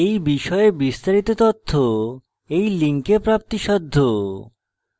এই বিষয়ে বিস্তারিত তথ্য এই link প্রাপ্তিসাধ্য